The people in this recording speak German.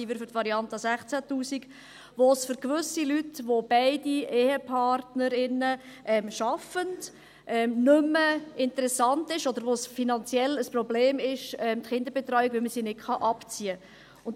daher sind wir für die Variante 16’000 Franken –, wo es für gewisse Leute, wenn beide EhepartnerInnen arbeiten, nicht mehr interessant ist, oder die Kinderbetreuung finanziell ein Problem ist, weil man sie nicht abziehen kann.